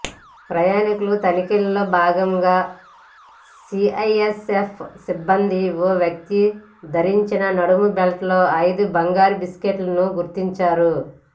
ప్రయాణికుల తనిఖీల్లో భాగంగా సీఐఎస్ఎఫ్ సిబ్బంది ఓ వ్యక్తి ధరించిన నడుం బెల్ట్లో ఐదు బంగారు బిస్కెట్లను గుర్తించారు